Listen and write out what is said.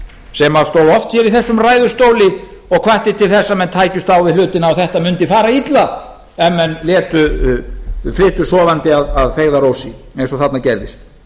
sem stóð oft hér í þessum ræðustóli og hvatti til þess að menn tækjust á við hlutina og þetta mundi fara illa ef menn flytu sofandi að feigðarósi eins og þarna gerðist